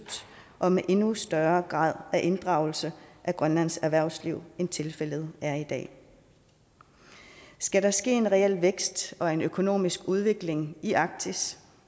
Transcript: og med endnu større grad af inddragelse af grønlands erhvervsliv end tilfældet er i dag skal der ske en reel vækst og en økonomisk udvikling i arktis